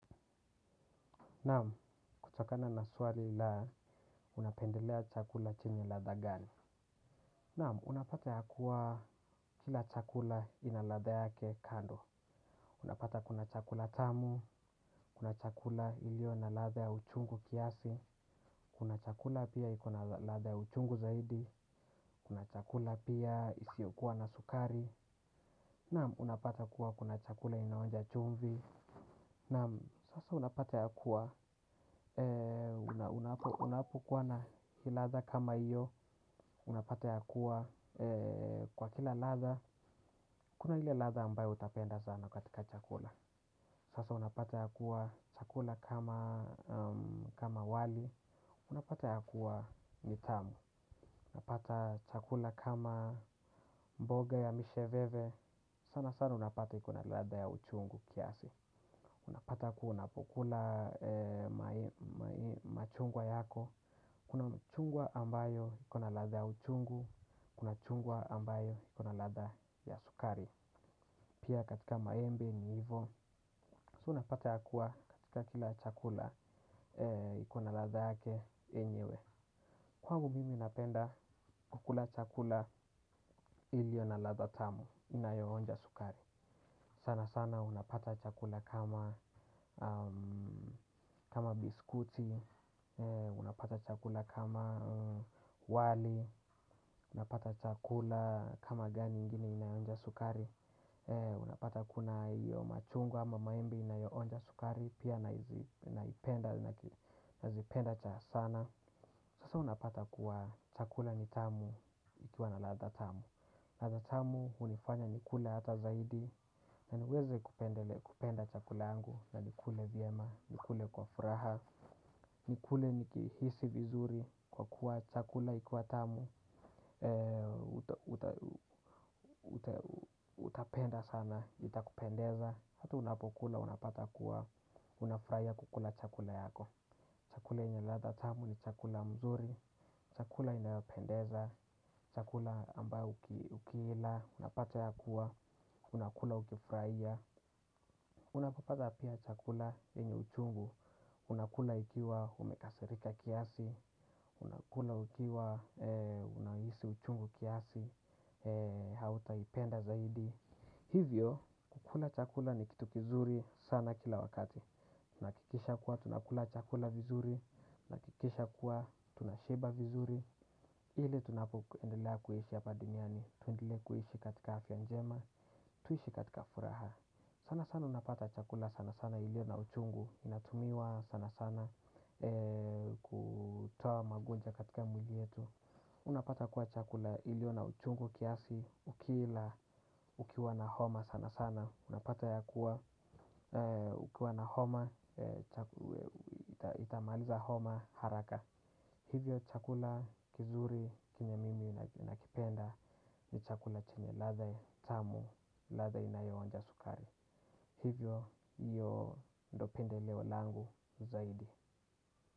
Naam. Kutokana na swali la, unapendelea chakula chenye ladha gani? Naam, unapata ya kuwa kila chakula ina ladha yake kando. Unapata kuna chakula tamu, kuna chakula iliyo na ladha ya uchungu kiasi. Kuna chakula pia iko na ladha ya uchungu zaidi. Kuna chakula pia isiokuwa na sukari. Naam unapata kuwa kuna chakula inaonja chumvi. Naam sasa unapata ya kuwa unapokuwa na ladha kama iyo. Unapata ya kuwa kwa kila ladha, kuna ile ladha ambayo utapenda sana katika chakula. Sasa unapata ya kuwa chakula kama wali, unapata ya kuwa ni tamu. Unapata chakula kama mboga ya misheveve. Sana sana unapata iko na ladha ya uchungu kiasi. Unapata ya kuwa unapokula machungwa yako. Kuna chungwa ambayo iko na ladha ya uchungu, kuna chungwa ambayo ikona ladha ya sukari. Pia katika maembe ni ivo, so unapata ya kuwa katika kila chakula iko na ladha yake enyewe. Kwangu mimi napenda kukula chakula iliyo na ladha tamu, inayoonja sukari. Sana sana unapata chakula kama. Kama biskuti, unapata chakula kama wali, unapata chakula kama gani ingine inayonja sukari? Unapata kuna hiyo machungwa ama maembe inayoonja sukari pia nazipenda cha sana. Sasa unapata kuwa chakula ni tamu ikiwa na ladha tamu. Ladha tamu unifanya nikule ata zaidi. Na niweze kupenda chakula yangu, na nikule vyema, nikule kwa furaha. Nikule nikihisi vizuri kwa kuwa chakula ikiwa tamu. Utapenda sana, itakupendeza, hata unapokula, unapata kuwa, unafurahia kukula chakula yako. Chakula yenye ladha tamu ni chakula mzuri. Chakula inayopendeza, chakula ambayo ukila, unapata ya kuwa, unakula ukifurahia. Unapopata pia chakula yenye uchungu unakula ikiwa umekasirika kiasi. Unakula ukiwa unahisi uchungu kiasi. Hautaipenda zaidi, hivyo kukula chakula ni kitu kizuri sana kila wakati. Nahakikisha kuwa tunakula chakula vizuri, nahakikisha kuwa tunashiba vizuri. Ile tunapoendelea kuishi hapa duniani, tuendelee kuhishi katika afya njema. Tuishi katika furaha. Sana sana unapata chakula sana sana ilio na uchungu. Inatumiwa sana sana kutaoa magonja katika mwili yetu. Unapata kuwa chakula ilio na uchungu kiasi ukila. Ukiwa na homa sana sana unapata ya kuwa. Ukiwa na homa itamaliza homa haraka. Hivyo chakula kizuri kile mimi nakipenda. Ni chakula chenye ladha ya tamu, ladha inayooanja sukari. Hivyo iyo do pendeleo langu zaidi.